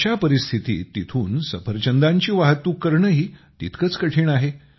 अशा परिस्थितीत तेथून सफरचंदांची वाहतूक करणेही तितकेच कठीण आहे